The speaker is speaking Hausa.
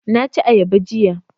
Na ci ayaba jiya